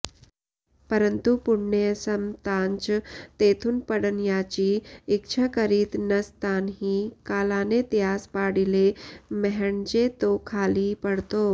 परंतु पुण्य संपतांच तेथून पडण्याची इच्छा करीत नसतांही कालाने त्यास पाडिले म्हणजे तो खाली पडतो